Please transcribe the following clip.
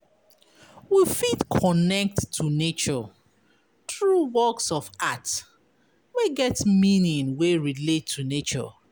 We fit connect to nature through works of art wey get meaning wey relate to nature